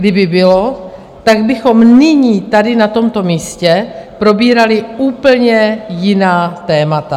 Kdyby bylo, tak bychom nyní tady na tomto místě probírali úplně jiná témata.